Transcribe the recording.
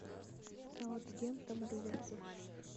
саутгемптон ливерпуль